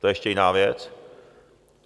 To je ještě jiná věc.